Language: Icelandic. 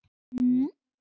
Slíkt vekur alltaf kæti.